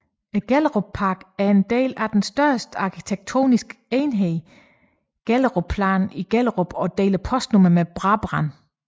Gellerupparken er en del af den større arkitektoniske enhed Gellerupplanen i Gellerup og deler postnummer med Brabrand